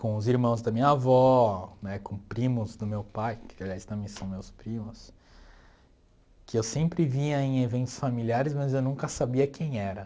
com os irmãos da minha avó né, com primos do meu pai, que aliás também são meus primos, que eu sempre via em eventos familiares, mas eu nunca sabia quem era.